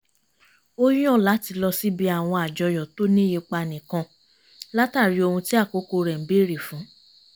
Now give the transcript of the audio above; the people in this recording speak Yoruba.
ó yàn láti lọ síbi àwọn àjọyọ̀ tó ní ipa nìkan látàrí ohun tí àkókò rẹ̀ ń bèrè fún